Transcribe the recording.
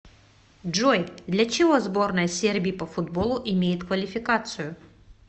джой для чего сборная сербии по футболу имеет квалификацию